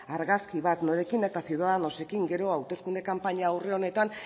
argazki bat norekin eta ciudadanosekin gero hauteskunde kanpaina aurre honetan